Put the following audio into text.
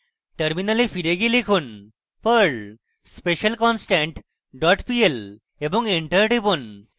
terminal ফিরে গিয়ে লিখুন: perl specialconstant pl এবং enter টিপুন